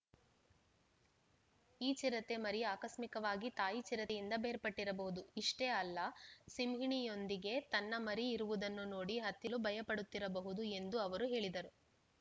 ಈ ಚಿರತೆ ಮರಿ ಆಕಸ್ಮಿಕವಾಗಿ ತಾಯಿ ಚಿರತೆಯಿಂದ ಬೇರ್ಪಟ್ಟಿರಬಹುದು ಇಷ್ಟೇ ಅಲ್ಲ ಸಿಂಹಿಣಿಯೊಂದಿಗೆ ತನ್ನ ಮರಿ ಇರುವುದನ್ನು ನೋಡಿ ಹತ್ತಿಲು ಭಯಪಡುತ್ತಿರಬಹುದು ಎಂದೂ ಅವರು ಹೇಳಿದರು